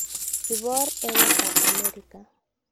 Kiboor emetab Amerika.